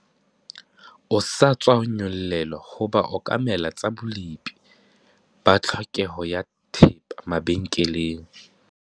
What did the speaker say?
O sa tswa nyollelwa ho ba okamela tsa bolepi ba tlhokeho ya thepa mabenkeleng.